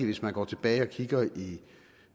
hvis man går tilbage og kigger i